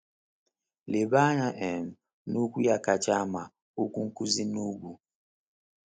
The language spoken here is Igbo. Leba anya um na okwu ya kacha ama—Okwu Nkuzi n’Ugwu.